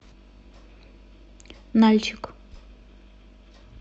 нальчик